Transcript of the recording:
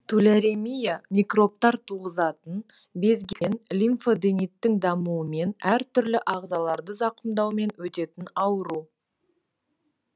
туляремия микробтар туғызатын безген лимфодениттің дамуымен әртүрлі ағзаларды зақымдаумен өтетін ауру